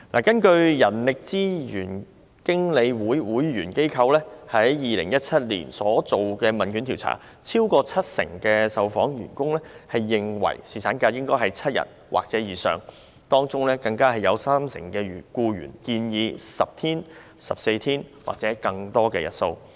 根據人力資源經理會會員機構於2017年所進行的一項問卷調查，超過七成受訪僱員認為侍產假應為7天或以上，當中更有三成僱員建議10天、14天或更多日數。